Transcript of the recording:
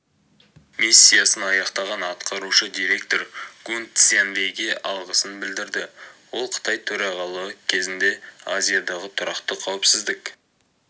миссиясын аяқтаған атқарушы директор гун цзяньвэйге алғысын білдірді ол қытай төрағалығы кезінде азиядағы тұрақты қауіпсіздік